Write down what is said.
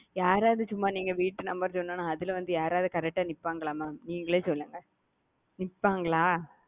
யாரவது சும்மா நீங்க வீட்டு நம்பர் சொன்னொன்னே அதுல வந்து யாராவது வந்து correct வந்து நிப்பாங்கள mam நீங்களே சொல்லுங்க நிப்பாங்களா?